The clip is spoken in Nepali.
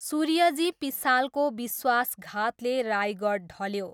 सूर्यजी पिसालको विश्वासघातले रायगढ ढल्यो।